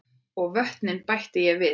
Og vötnin bætti ég við.